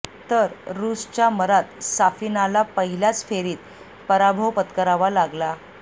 तर रुसच्या मरात साफिनाला पहिल्याच फेरीत पराभव पत्करावा लागला